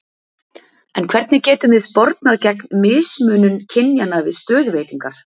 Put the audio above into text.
En hvernig getum við spornað gegn mismunun kynjanna við stöðuveitingar?